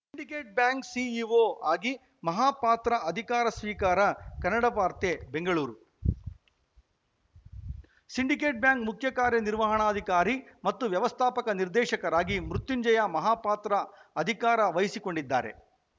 syndicate bank CEO ಆಗಿ ಮಹಾಪಾತ್ರ ಅಧಿಕಾರ ಸ್ವೀಕಾರ ಕನ್ನಡ ವಾರ್ತೆ ಬೆಂಗಳೂರು ಸಿಂಡಿಕೇಟ್‌ ಬ್ಯಾಂಕ್‌ ಮುಖ್ಯ ಕಾರ್ಯ ನಿರ್ವಹಣಾಧಿಕಾರಿ ಮತ್ತು ವ್ಯವಸ್ಥಾಪಕ ನಿರ್ದೇಶಕರಾಗಿ ಮೃತ್ಯುಂಜಯ ಮಹಾಪಾತ್ರ ಅಧಿಕಾರ ವಹಿಸಿಕೊಂಡಿದ್ದಾರೆ